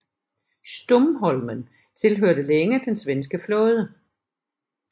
Stumholmen tilhørte længe den svenske flåde